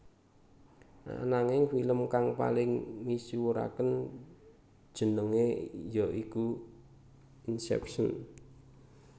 Ananging film kang paling misuwuraké jenengé ya iku Inception